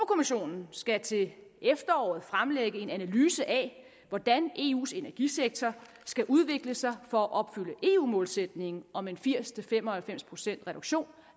kommissionen skal til efteråret fremlægge en analyse af hvordan eus energisektor skal udvikle sig for at opfylde eu målsætningen om en firs til fem og halvfems procents reduktion